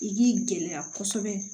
I k'i gɛlɛya kosɛbɛ